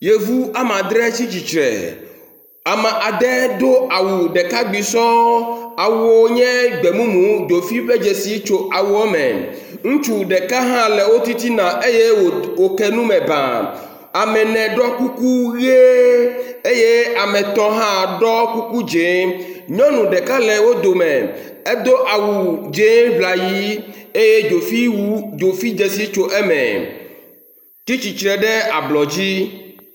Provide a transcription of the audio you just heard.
yevu amadre tsítsitsre ame ade do awu ɖeka gbi sɔŋ awuwo nye gbemumu dzofi ƒe dzesi tso eme ŋutsu ɖeka hã le wotitina eye wo kenume bãa emene ɖɔ kuku ɣie eye ame etɔ̃ hã ɖɔ kuku dzɛ̃ nyɔnu ɖeka le wó dome edó awu dzɛ̃ ʋlayi eye dzofi dzesi tso eme tsítsitsre ɖe ablɔdzi